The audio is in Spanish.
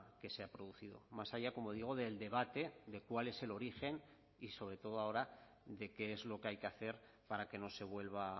que se ha producido más allá como digo del debate de cuál es el origen y sobre todo ahora de qué es lo que hay que hacer para que no se vuelva